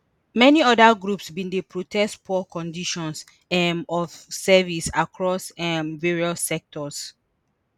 many oda groups bin dey protest poor conditions um of service across um various sectors